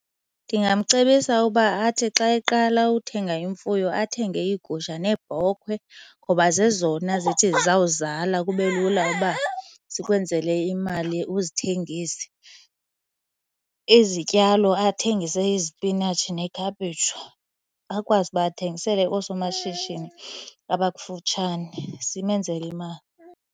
Ndingamcebisa uba athi xa eqala uthenga imfuyo athenge iigusha neebhokhwe ngoba zezona zithi zizawuzala kube lula uba zikwenzele imali uzithengise. Izityalo athengise izipinatshi nekhaphetshu, akwazi uba athengisele oosomashishini abakufutshane zimenzele imali.